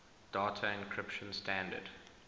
data encryption standard